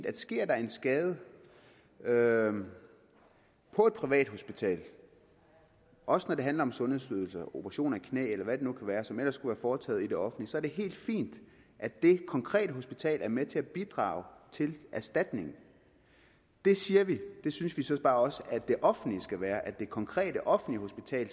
at sker der en skade skade på et privathospital også når det handler om sundhedsydelser operation af et knæ eller hvad det nu kan være som ellers skulle være foretaget i det offentlige så er det helt fint at det konkrete hospital er med til at bidrage til erstatningen der siger vi at det synes vi så bare også at det offentlige skal være at det konkrete offentlige hospital